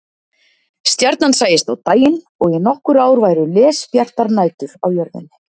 Stjarnan sæist á daginn og í nokkur ár væru lesbjartar nætur á jörðinni.